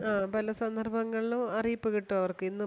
ആ പല സന്ദർഭങ്ങളിലും അറിയിപ്പ് കിട്ടും അവർക്ക് ഇന്നും